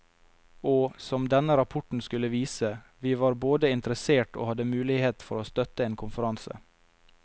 Og, som denne rapporten skulle vise, vi var både interessert og hadde mulighet for å støtte en konferanse.